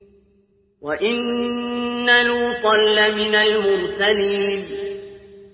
وَإِنَّ لُوطًا لَّمِنَ الْمُرْسَلِينَ